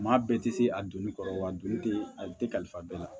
Maa bɛɛ tɛ se a donni kɔrɔ wa don tɛ a tɛ kalifa bɛɛ la